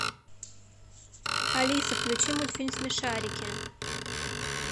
алиса включи мультфильм смешарики